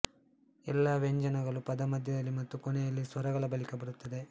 ಎಲ್ಲ ವ್ಯಂಜನಗಳೂ ಪದ ಮಧ್ಯದಲ್ಲಿ ಮತ್ತು ಕೊನೆಯಲ್ಲಿ ಸ್ವರಗಳ ಬಳಿಕ ಬರುತ್ತವೆ